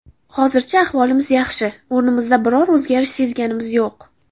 Hozircha ahvolimiz yaxshi, o‘zimizda biror o‘zgarish sezganimiz yo‘q.